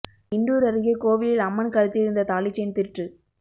இண்டூர் அருகே கோவிலில் அம்மன் கழுத்தில் இருந்த தாலி செயின் திருட்டு